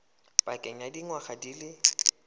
pakeng ya dingwaga di le